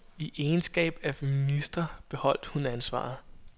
I egenskab af minister beholdt hun ansvaret.